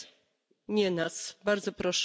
Vielen Dank für Ihr Auftreten heute.